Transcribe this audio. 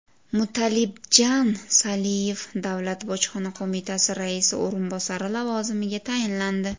Mutalibdjan Saliyev Davlat bojxona qo‘mitasi Raisi o‘rinbosari lavozimiga tayinlandi.